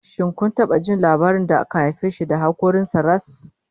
Shin kun ji labarin jaririn da aka haife shi da hakoran sa ras?